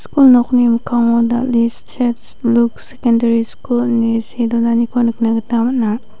kul nokni mikkango dal·e sej luks sekendari skul ine see donaniko nikna gita man·a.